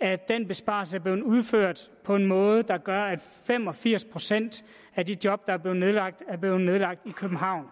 at den besparelse er blevet udført på en måde der gør at fem og firs procent af de job der er blevet nedlagt er blevet nedlagt i københavn